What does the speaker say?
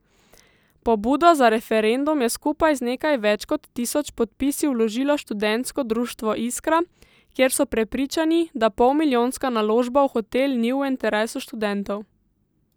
Pobudo za referendum je skupaj z nekaj več kot tisoč podpisi vložilo študentsko društvo Iskra, kjer so prepričani, da polmilijonska naložba v hotel ni v interesu študentov.